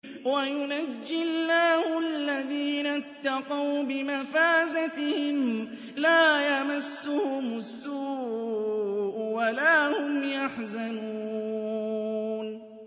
وَيُنَجِّي اللَّهُ الَّذِينَ اتَّقَوْا بِمَفَازَتِهِمْ لَا يَمَسُّهُمُ السُّوءُ وَلَا هُمْ يَحْزَنُونَ